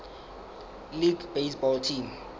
league baseball team